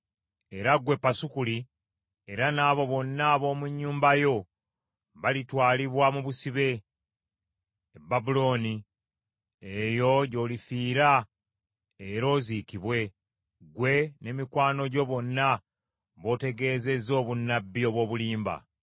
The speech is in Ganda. Era ggwe Pasukuli, era n’abo bonna ab’omu nnyumba yo balitwalibwa mu busibe, e Babulooni. Eyo gy’olifiira era oziikibwe, ggwe ne mikwano gyo bonna b’otegeezezza obunnabbi obw’obulimba.’ ”